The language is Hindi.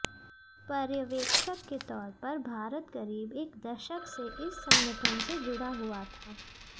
पर्यवेक्षक के तौर पर भारत करीब एक दशक से इस संगठन से जुड़ा हुआ था